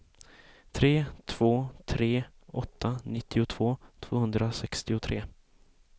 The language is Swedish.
tre två tre åtta nittiotvå tvåhundrasextiotre